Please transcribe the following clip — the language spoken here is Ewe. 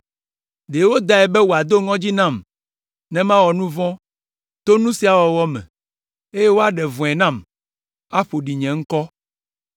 Ɖe wodae be wòado ŋɔdzi nam ne mawɔ nu vɔ̃ to nu sia wɔwɔ me, eye woaɖe vɔ̃e nam, aƒo ɖi nye ŋkɔ.